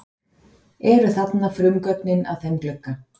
Eru þarna frumgögnin að þeim glugga.